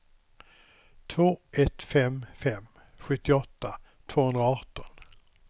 två ett fem fem sjuttioåtta tvåhundraarton